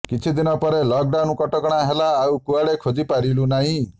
କିଛି ଦିନ ପରେ ଲକଡାଉନ କଟକଣା ହେଲା ଆଉ କୁଆଡେ ଖୋଜିପାରିଲୁ ନହିଁ